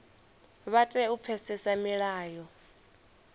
vha tea u pfesesa milayo